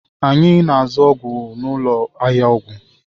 Anyị na-azụ ọgwụ n'ụlọ ahịa ọgwụ